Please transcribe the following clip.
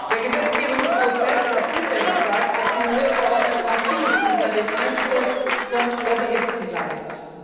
Der Gesetzgebungsprozess hat bisher gezeigt, dass die neue Verordnung massiv unter dem Einfluss von Lobbyisten leidet.